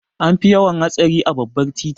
An fi yawan hatsari a babbar titi.